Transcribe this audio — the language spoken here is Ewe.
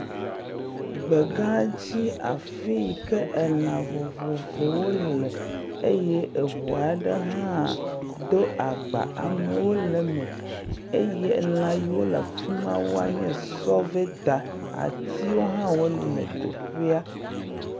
Gbegãdzi afi yi ke elã vovovowo le. Eye ŋu aɖe hã do agba, amewo le eme eye lã yiwo le afi maa wonye sɔveda. Atiwo hã wole teƒea.